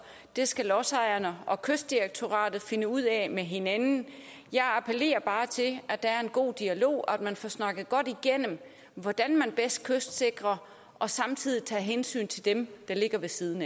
det skal lodsejerne og kystdirektoratet finde ud af med hinanden men jeg appellerer bare til at der er en god dialog og at man får snakket godt igennem hvordan man bedst kystsikrer og samtidig tager hensyn til dem der ligger ved siden